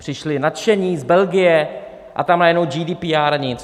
Přišli nadšení z Belgie, a tam najednou GDPR nic.